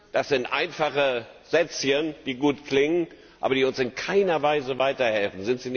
Das sind einfache Sätzchen, die gut klingen, aber die uns in keiner Weise weiterhelfen.